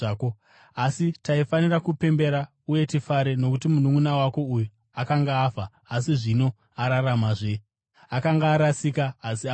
Asi taifanira kupembera uye tifare, nokuti mununʼuna wako uyu akanga afa asi zvino araramazve; akanga arasika asi awanikwa.’ ”